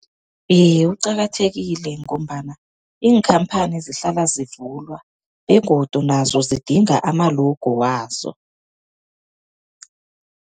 Iye, uqakathekile ngombana iinkhamphani zihlala zivulwa begodu nazo zidinga ama-logo wazo.